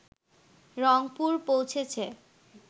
রংপুর পৌঁছেছে